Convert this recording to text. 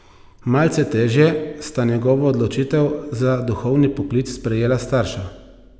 Malce težje sta njegovo odločitev za duhovni poklic sprejela starša.